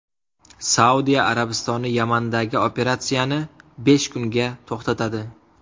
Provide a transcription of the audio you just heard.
Saudiya Arabistoni Yamandagi operatsiyani besh kunga to‘xtatadi.